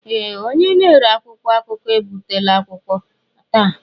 Ee! Onye na-ere akwụkwọ akụkọ ebutela akwụkwọ taa.